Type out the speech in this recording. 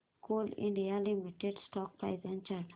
Coal India limited stock price and chart